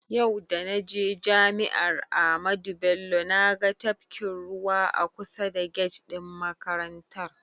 Da naje jami'ar Amadu Bello naga tafkin ruwa a kusa da get ɗin makarantar.